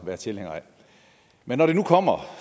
være tilhængere af men når det nu kommer